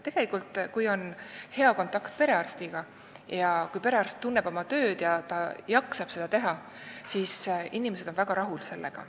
Tegelikult on nii, et kui on hea kontakt perearstiga, kes tunneb oma tööd ja jaksab seda teha, siis on inimesed sellega väga rahul.